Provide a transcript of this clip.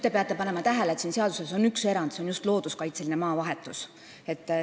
Te peate tähele panema, et siin seaduses on üks erand, see on just looduskaitseliste maade vahetus.